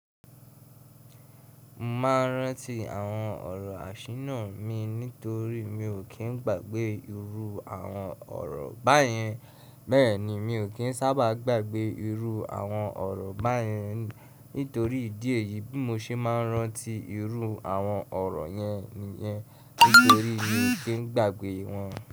Mo ma rántí àwọn ọ̀rọ̀ àṣínà mi nítorí mi ò kí ń gbàgbé irú àwọn ọ̀rọ̀ báyẹn. Bẹ́ẹ̀ni, mi ò kí ń sábà gbàgbé irú àwọn ọ̀rọ̀ báyẹn nítorí ìdí èyí bí mo ṣe máa rántí irú àwọn ọ̀rọ̀ yẹn nìyẹn nítorí mi ò kí ń gbàgbé wọn.